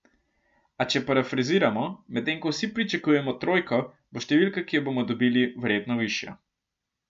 A če parafraziramo, medtem ko vsi pričakujemo trojko, bo številka, ki jo bomo dobili, verjetno višja.